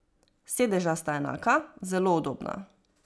Sedeža sta enaka, zelo udobna.